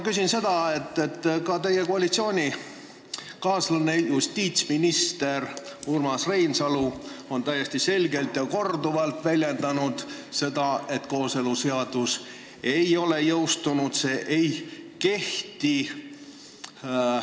Ka teie koalitsioonikaaslane justiitsminister Urmas Reinsalu on täiesti selgelt ja korduvalt öelnud, et kooseluseadus ei ole jõustunud, see ei kehti.